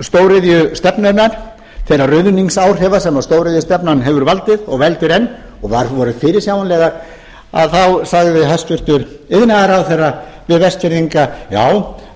stóriðjustefnunnar þeirra ruðningsáhrifa sem stóriðjustefnan hefur valdið og veldur enn og voru fyrirsjáanlegar þá sagði hæstvirtur iðnaðarráðherra við vestfirðinga já